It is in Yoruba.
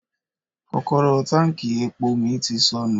Kọ́kọ́rọ́ táǹkì epo mi ti sọnù.